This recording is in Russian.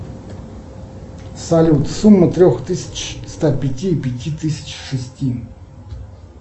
салют сумма трех тысяч ста пяти и пяти тысяч шести